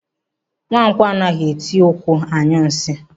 Nwankwọ anaghị etukwu anyụ nsị.